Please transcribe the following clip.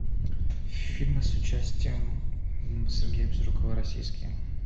фильмы с участием сергея безрукова российские